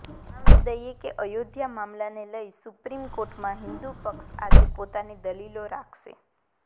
જણાવી દઈએ કે અયોધ્યા મામલાને લઈ સુપ્રીમ કોર્ટમાં હિન્દુ પક્ષ આજે પોતાની દલીલો રાખશે